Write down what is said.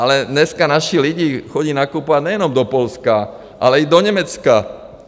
Ale dneska naši lidi chodí nakupovat nejenom do Polska, ale i do Německa.